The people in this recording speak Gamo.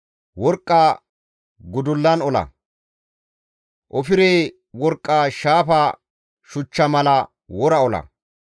Worqqa gudullan ola; ofire worqqa shaafa shuchcha mala wora ola.